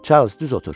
Çarlz düz oturdu.